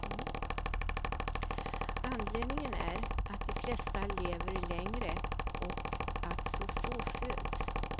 Anledningen är att de flesta lever längre och att så få föds.